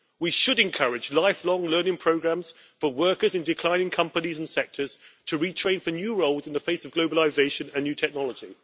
We should encourage lifelong learning programmes for workers in declining companies and sectors to retrain for new roles in the face of globalisation and new technology.